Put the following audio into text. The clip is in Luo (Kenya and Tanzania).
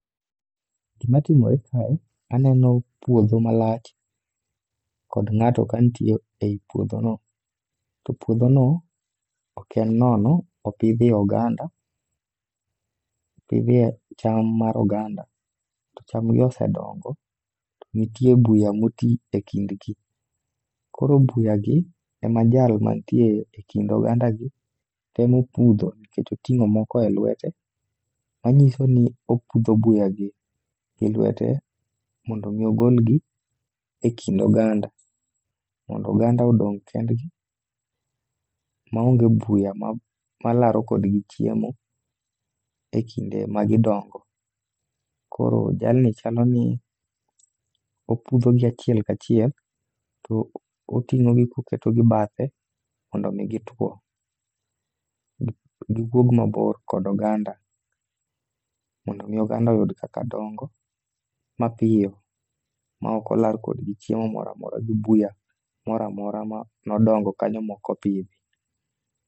Gimatimore kae, aneno puodho malach kod ng'ato kanitie ei puodhono. To puodhono ,ok en nono, opidhie oganda ,opidhie cham mar oganda, to chamni osedongo. Nitie buya moti e kindgi. Koro buyagi, ema jal manitie e kind ogandagi temo pudho nikech oting'o moko e lwete, manyiso ni opudho buyagi gi lwete mondo omi ogolgi e kind oganda. Mondo oganda odong kendgi ma onge buya malaro kodhi chiemo e kinde magidongo. Koro jalni chalo ni opudho gi achiel ka chiel ,to oting'ogi koketogi bathe mondo omi gituwo. Giwuog mabor kod oganda mondo omi oganda oyud kaka dongo mapiyo, ma ok olar kodgi chiemo mora mora gi buya mora mora ma nodongo kanyo mokopidhi.